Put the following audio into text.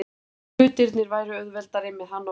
Hlutirnir væru auðveldari með hann á vellinum.